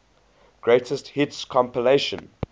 greatest hits compilation